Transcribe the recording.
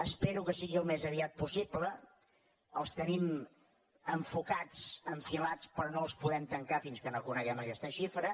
espero que sigui al més aviat possible els tenim enfocats enfilats però no els podem tancar fins que no coneguem aquesta xifra